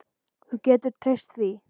Þú getur treyst því.